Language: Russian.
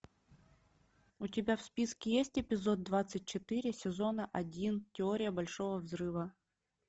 у тебя в списке есть эпизод двадцать четыре сезона один теория большого взрыва